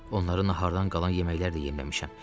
Onları nahardan qalan yeməklər də yemləmişəm.